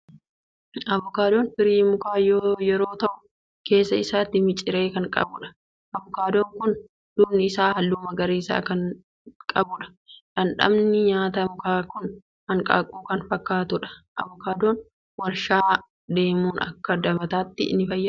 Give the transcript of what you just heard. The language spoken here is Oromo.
Avokaadoon firii mukaa yeroo ta'u, keessa isaatti miciree kan qabudha. Avokaadoon kun duubni isaa halluu magariisa kan qabudha. Dhamdhamni nyaata mukaa kun hanqaaquu kan fakkaatu dha. Avokaadoon waarshaa deemuun akka dibataattis ni fayyada.